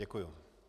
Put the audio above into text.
Děkuji.